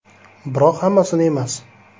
Biroq hammasini emas.